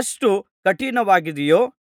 ಅಷ್ಟು ಕಠಿಣವಾಗಿದೆಯೋ